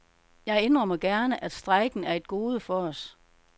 Jeg indrømmer gerne, at strejken er et gode for os.